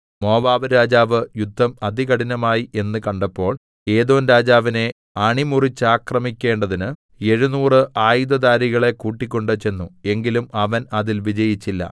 മോവാബ്‌രാജാവ് യുദ്ധം അതികഠിനമായി എന്ന് കണ്ടപ്പോൾ ഏദോംരാജാവിനെ അണിമുറിച്ചാക്രമിക്കേണ്ടതിന് എഴുനൂറ് ആയുധധാരികളെ കൂട്ടിക്കൊണ്ട് ചെന്നു എങ്കിലും അവൻ അതിൽ വിജയിച്ചില്ല